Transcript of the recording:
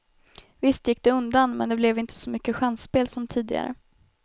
Visst gick det undan, men det blev inte så mycket chansspel som tidigare.